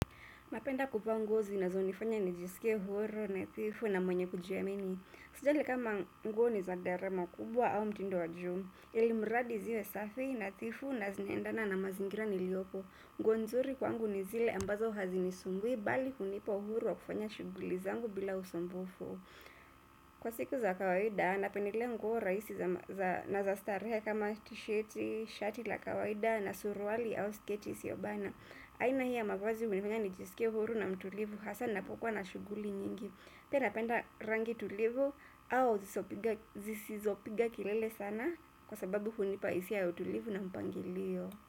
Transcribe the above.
Napenda kuvaa nguo zinazo nifanya nijisike huru nadhifu na mwenye kujiamini. Sijali kama nguo niza gharama kubwa au mtindo wa juu. Ilimradi ziwe safi nadhifu na zinaendana na mazingira nilioko. Nguo nzuri kwangu nizile ambazo hazinisumbui bali kunipa uhuru wa kufanya shughuli zangu bila usumbufu. Kwa siku za kawaida, napendelea nguo rahisi na za starehe kama tisheti, shati la kawaida na suruali au sketi isiobana. Aina hii ya mavazi hunifanya nijisike huru na mtulivu hasa napokuwa na shughuli nyingi pia napenda rangi tulivu au zisizopiga kilele sana kwa sababu hunipa hisia ya utulivu na mpangilio.